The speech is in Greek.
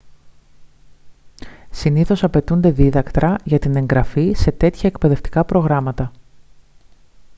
συνήθως απαιτούνται δίδακτρα για την εγγραφή σε τέτοια εκπαιδευτικά προγράμματα